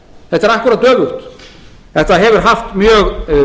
þetta er akkúrat öfugt þetta hefur haft mjög